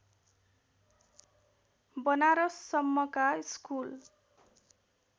बनारससम्मका school